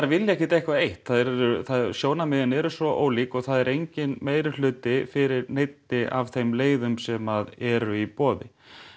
vilja ekkert eitthvað eitt sjónarmiðin eru svo ólík og það er enginn meirihluti fyrir neinni af þeim leiðum sem eru í boði